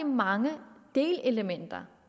mange delelementer